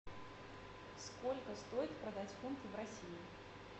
сколько стоит продать фунты в россии